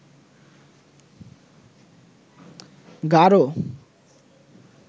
Garo